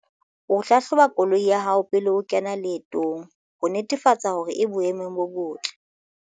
O hlahloba koloi ya hao pele o kena leetong, ho netefatsa hore e boemong bo botle.